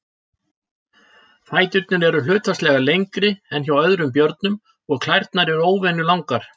Fæturnir eru hlutfallslega lengri en hjá öðrum björnum og klærnar eru óvenju langar.